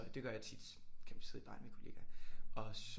Det gør jeg tit så kan man sidde i baren med kollegaer og så